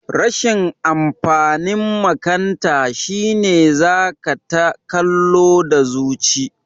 Rashin amfanin makanta shine zaka ta kallo da zuci